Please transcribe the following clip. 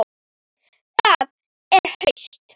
Það er haust.